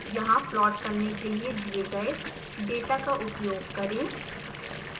यहाँ प्लॉट करने के लिए दिए गए डेटा का उपयोग करें